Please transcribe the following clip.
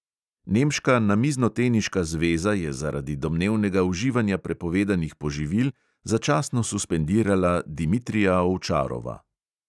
Nemška namiznoteniška zveza je zaradi domnevnega uživanja prepovedanih poživil začasno suspendirala dimitrija ovčarova.